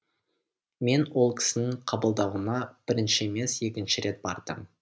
мен ол кісінің қабылдауына бірінші емес екінші рет бардым